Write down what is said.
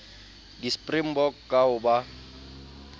di springbok ka ho ba